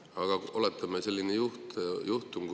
Aga oletame, et on selline juhtum.